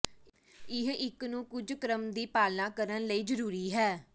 ਇਹ ਇੱਕ ਨੂੰ ਕੁਝ ਕ੍ਰਮ ਦੀ ਪਾਲਣਾ ਕਰਨ ਲਈ ਜ਼ਰੂਰੀ ਹੈ